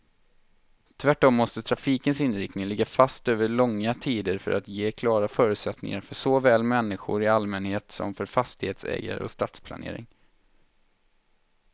Tvärtom måste trafikens inriktning ligga fast över långa tider för att ge klara förutsättningar för såväl människor i allmänhet som för fastighetsägare och stadsplanering.